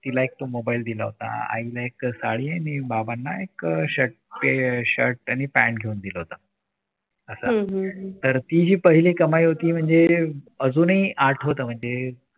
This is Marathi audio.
तिला एक तो मोबाईल दिला होता. आईला एक साडी आणि बाबांना एक shirt अह shirt आणि pant घेऊन दिलं होतं असं तर ती ही पहिली कमाई होती म्हणजे अजूनही आठवतं म्हणजे